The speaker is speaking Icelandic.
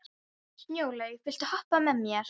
Snjólaug, viltu hoppa með mér?